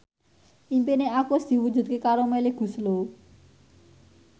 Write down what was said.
impine Agus diwujudke karo Melly Goeslaw